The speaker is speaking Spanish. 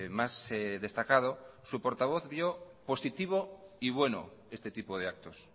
más destacado su portavoz vio positivo y bueno este tipo de actos